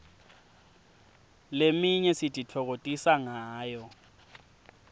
leminye sititfokotisa ngayo